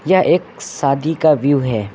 यह एक शादी का व्यू है।